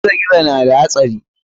Gizo-gizo na da hatsari.